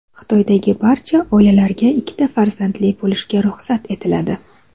Xitoydagi barcha oilalarga ikkita farzandli bo‘lishga ruxsat etiladi.